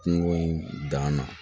Kungo in dan na